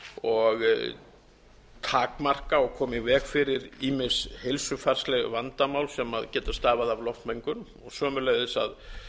og takmarka og koma í veg fyrir ýmis heilsufarsleg vandamál sem geta stafað af loftmengun sömuleiðis að